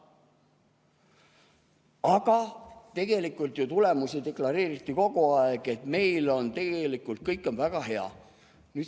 Aga tulemusi deklareeriti kogu aeg, et meil on tegelikult kõik väga hea.